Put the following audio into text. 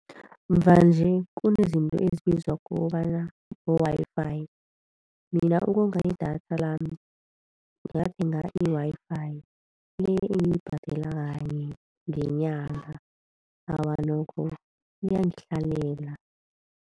Mvanje kunezinto ezibizwa kobana bo-Wi-Fi. Mina ukonga i-data lami ngathenga i-Wi-Fi le engiyibhadela kanye ngenyanga, awa nokho iyangihlalela.